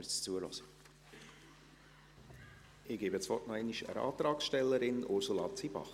Ich gebe das Wort noch einmal der Antragstellerin, Ursula Zybach.